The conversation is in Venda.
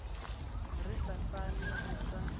ri sa fani u sa